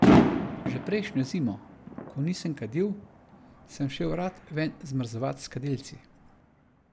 Že prejšnjo zimo, ko nisem kadil, sem šel rad ven zmrzovat s kadilci.